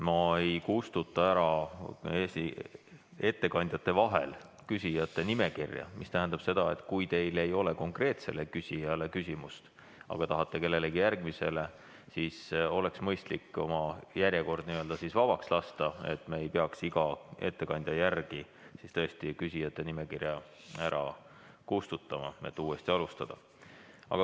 Ma ei kustuta ettekandjate vahel küsijate nimekirja ära, mis tähendab seda, et kui teil ei ole konkreetsele ettekandjale küsimust, aga tahate küsimuse esitada kellelegi järgmisele, siis oleks mõistlik oma järjekord vabaks lasta, et me ei peaks iga ettekandja järel küsijate nimekirja ära kustutama, et uuesti alustada.